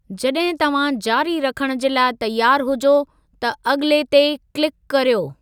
जड॒हिं तव्हां जारी रखणु जे लाइ तयारु हुजो त 'अगि॒ले' ते क्लिकु करियो।